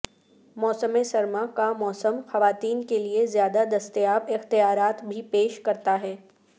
موسم سرما کا موسم خواتین کے لئے زیادہ دستیاب اختیارات بھی پیش کرتا ہے